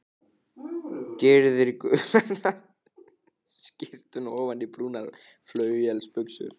Gyrðir gula skyrtuna ofan í brúnar flauelsbuxur.